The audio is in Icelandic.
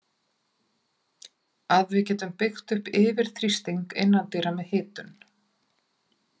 Að við getum byggt upp yfirþrýsting innandyra með hitun.